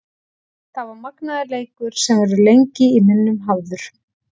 Þetta var magnaður leikur sem verður lengi í minnum hafður.